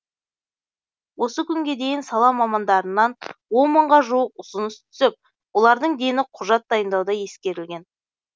осы күнге дейін сала мамандарынан он мыңға жуық ұсыныс түсіп олардың дені құжат дайындауда ескерілген